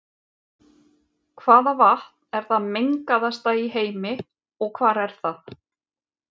Hvaða vatn er það mengaðasta í heimi og hvar er það?